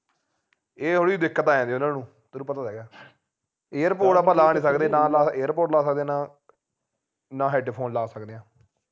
ਇਹ ਥੋੜੀ ਦਿੱਕਤ ਹੈ ਉਹਨਾਂ ਨੂੰ ਤੈਨੂੰ ਪਤਾ ਤਾ ਹੈਗਾ airpods ਆਪਾ ਲਾ ਨਹੀਂ ਸਕਦੇ ਨਾ ਲਾ airpods ਲਾ ਸਕਦੇ ਨਾ ਨਾ headphone ਲਾ ਸਕਦੇ ਹਾ